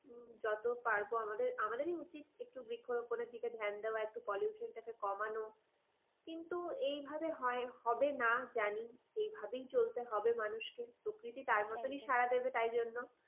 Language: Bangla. হ্যাঁ যত পারবো আমাদেরই উচিত বৃক্ষরোপণের দিকে ধ্যান দেওয়া একটু pollution টাকে কমানো কিন্তু এইভাবে হয় হবে না জানি এই ভাবেই চলতে হবে মানুষকে প্রকৃতি তার মতনই সাড়া দেবে তার জন্য।